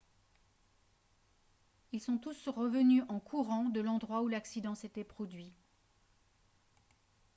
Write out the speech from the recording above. ils sont tous revenus en courant de l'endroit où l'accident s'était produit